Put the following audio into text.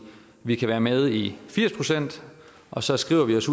vi kan være med i firs procent og så skriver vi os